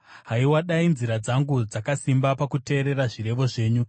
Haiwa, dai nzira dzangu dzakasimba pakuteerera zvirevo zvenyu!